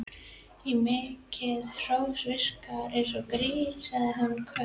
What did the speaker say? Of mikið hrós virkar eins og grín sagði hún hvöss.